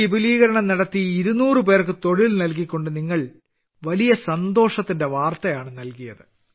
പുതിയ വിപുലീകരണങ്ങൾ നടത്തി 200 പേർക്ക് തൊഴിൽ നൽകിക്കൊണ്ട് നിങ്ങൾ വലിയ സന്തോഷത്തിന്റെ വാർത്ത നൽകി